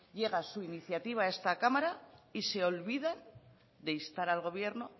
llega su iniciativa a esta cámara y se olvidan de instar al gobierno